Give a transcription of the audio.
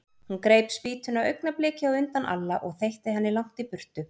Hún greip spýtuna augnabliki á undan Alla og þeytti henni langt í burtu.